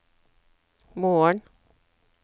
morgen